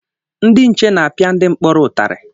Ndị nche na-apịa ndị mkpọrọ ụtarị